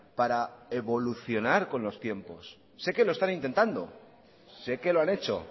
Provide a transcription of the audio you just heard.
para evolucionar con los tiempos sé que lo están intentando sé que lo han hecho